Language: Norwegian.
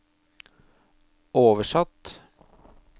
oversatt